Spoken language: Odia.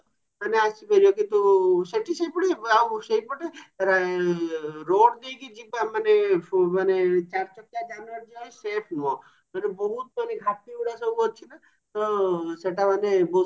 ମାନେ ଆସିପାରିବା କିନ୍ତୁ ସେଠି ସେଇପଟେ ଆଉ ସେଇପଟେ road ଦେଇକି ଯିବା ମାନେ ମାନେ ଚାରିଚକିଆ ଯାନ ଗାଡି ଯିବା ପାଇଁ safe ନୁହଁ ମାନେ ବହୁତ ମାନେ ଘାଟି ଗୁଡା ସବୁ ଅଛି ନା ତ ସେଟ ମାନେ ବହୁତ